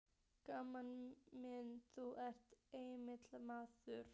Gamli minn, þú ert einmitt rétti maðurinn.